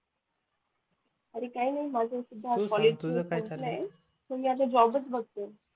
अरे काय नाय माझ असं मग मी आता जॉबचं बघते